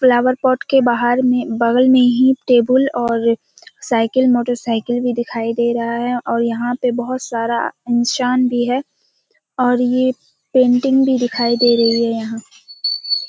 Flower pot के बाहर में बगल में ही टेबुल और साइकिल मोटरसाइकिल भी दिखाई दे रहा है और यहाँ पे बहुत सारा इंसान भी है और ये पेंटिंग भी दिखाई दे रही है यहाँ।